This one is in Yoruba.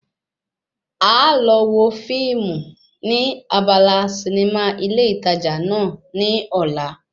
Àá lọ wo fíìmù ní abala sinimá ilé ìtajà náà ní ọ̀la